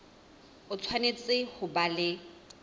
o tshwanetse ho ba le